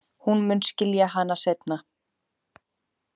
Hún mun skilja hana seinna.